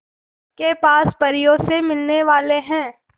के पास परियों से मिलने वाले हैं